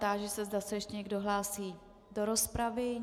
Táži se, zda se ještě někdo hlásí do rozpravy.